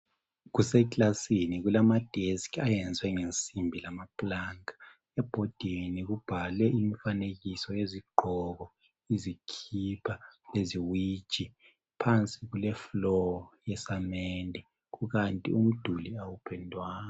Kuse kilasini kulama desk ayenziwe ngensimbi lamaplanka ebhodini kubhalwe imifanekiso yezigqoko, izikipha leziwiji phansi kule floor yesamende kukanti umduli awupendwanga.